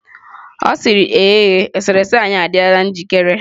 Ọ sịrị ee, eserese anyị adịla njikere.